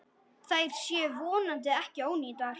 Þær séu vonandi ekki ónýtar.